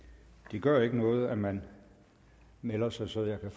gør ikke noget at man melder sig så jeg kan